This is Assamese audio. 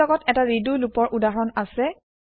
মোৰ লগত এটা ৰেডো লুপ ৰ উদাহৰণ আছে